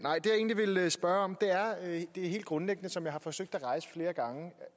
egentlig vil spørge om er det helt grundlæggende som jeg har forsøgt at rejse flere gange